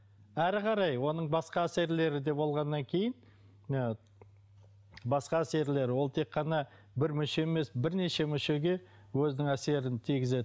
әрі қарай оның басқа әсерлері де болғаннан кейін басқа әсерлері ол тек қана бір мүше емес бірнеше мүшеге өзінің әсерін тигізеді